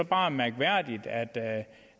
bare mærkværdigt at